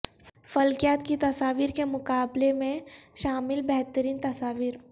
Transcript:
فلکیات کی تصاویر کے مقابلے میں شامل بہترین تصاویر